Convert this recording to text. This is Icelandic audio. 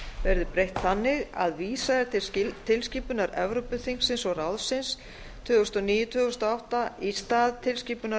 verði breytt þannig að vísað er til tilskipunar evrópuþingsins og ráðsins tvö þúsund og níu tvö þúsund og átta í stað tilskipunar